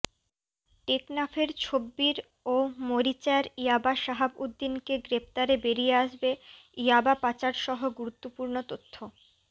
টেকনাফের ছব্বির ও মরিচ্যার ইয়াবা সাহাব উদ্দিনকে গ্রেপ্তারে বেরিয়ে আসবে ইয়াবা পাচারসহ গুরুত্বপূর্ণ তথ্য